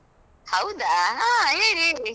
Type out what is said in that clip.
ಹೌದಾ ಹಾ ಹೇಳಿ ಹೇಳಿ.